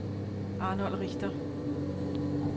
Arnold Richter